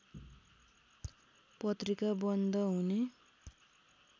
पत्रिका बन्द हुने